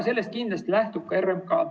Nendest kindlasti lähtub ka RMK.